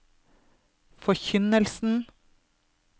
forkynnelsen